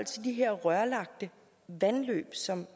de her rørlagte vandløb som